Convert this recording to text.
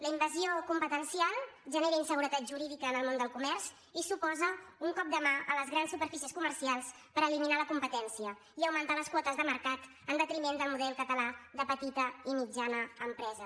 la invasió competencial genera inseguretat jurídica en el món del comerç i suposa un cop de mà a les grans superfícies comercials per eliminar la competència i augmentar les quotes de mercat en detriment del model català de petita i mitjana empresa